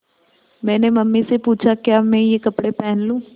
मैंने मम्मी से पूछा क्या मैं ये कपड़े पहन लूँ